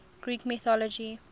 greek mythology